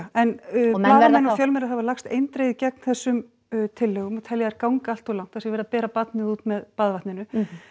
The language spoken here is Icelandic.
en blaðamenn og fjölmiðlar hafa lagst eindregið gegn þessum tillögum og telja þær ganga alltof langt það sé verið að bera barnið út með baðvatninu